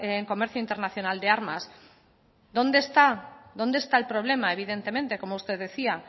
en comercio internacionales de armas dónde está el problema evidentemente como usted decía